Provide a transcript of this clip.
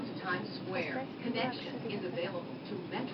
поставь лакшери на тв